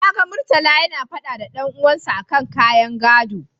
Na ga Murtala yana faɗa da dan uwansa a kan ƙayan gaɗo.